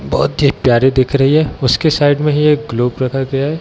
बहुत ही प्यारी दिख रही है उसके साइड में ही एक ग्लोब रखा गया है।